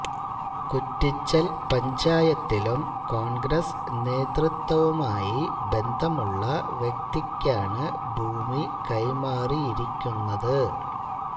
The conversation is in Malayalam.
കുറ്റിച്ചല് പഞ്ചായത്തിലും കോണ്ഗ്രസ് നേതൃത്വവുമായി ബന്ധമുള്ള വ്യക്തിക്കാണ് ഭൂമി കൈമാറിയിരിക്കുന്നത്